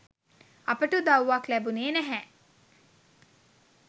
අපට උදව්වක් ලැබුණේ නැහැ